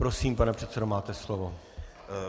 Prosím, pane předsedo, máte slovo.